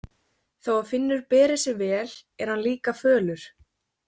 Þó að Finnur beri sig vel er hann líka fölur.